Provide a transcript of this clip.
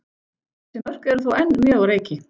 Þessi mörk eru þó enn mjög á reiki.